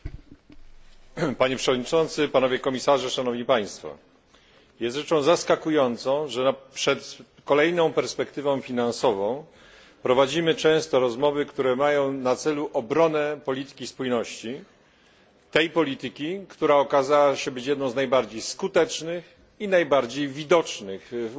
Panie przewodniczący, panowie komisarze! Jest rzeczą zaskakującą, że przed kolejną perspektywą finansową prowadzimy często rozmowy, które mają na celu obronę polityki spójności, tej polityki, która okazała się jedną z najbardziej skutecznych i najbardziej widocznych w Unii Europejskiej.